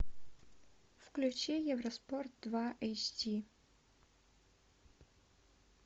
включи евроспорт два эйч ди